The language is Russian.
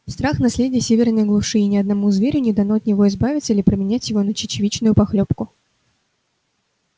страх наследие северной глуши и ни одному зверю не дано от него избавиться или променять его на чечевичную похлёбку